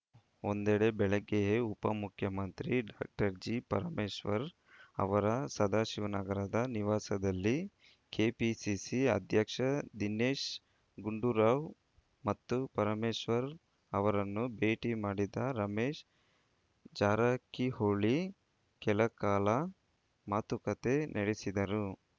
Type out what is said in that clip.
ಒಂದೆಡೆ ಬೆಳಗ್ಗೆಯೇ ಉಪಮುಖ್ಯಮಂತ್ರಿ ಡಾಕ್ಟರ್ ಜಿ ಪರಮೇಶ್ವರ್‌ ಅವರ ಸದಾಶಿವನಗರದ ನಿವಾಸದಲ್ಲಿ ಕೆಪಿಸಿಸಿ ಅಧ್ಯಕ್ಷ ದಿನೇಶ್‌ ಗುಂಡೂರಾವ್‌ ಮತ್ತು ಪರಮೇಶ್ವರ್‌ ಅವರನ್ನು ಭೇಟಿ ಮಾಡಿದ ರಮೇಶ್‌ ಜಾರಕಿಹೊಳಿ ಕೆಲಕಾಲ ಮಾತುಕತೆ ನಡೆಸಿದರು